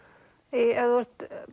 ef þú ert